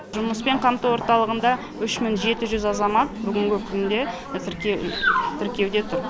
жұмыспен қамту орталығында үш мың жеті жүз азамат бүгінгі күнде тіркеуде тұр